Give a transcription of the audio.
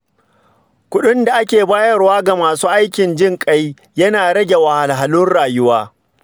Kudin da ake bayarwa ga masu aikin jin kai yana rage wahalhalun rayuwa.